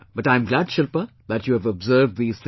But I am glad, Shilpa, that you have observed these things